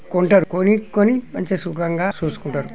కొంటరు కొని- కొని మంచిగా సుకంగా చూసుకుంటారు.